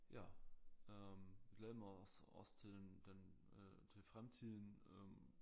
Ja øh glæder mig også også til den den øh til fremtiden øh